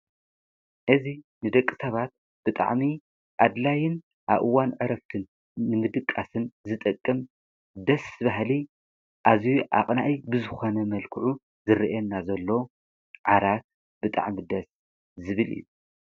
እዚ ንደቂ ሰባት ብጣዕሚ ጠቃሚ ኮይኑ ንምዕራፍን ንምድቃስን ዝጠቅም ዓራት ይበሃል።